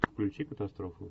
включи катастрофу